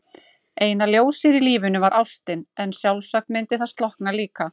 Eina ljósið í lífinu var ástin, en sjálfsagt myndi það slokkna líka.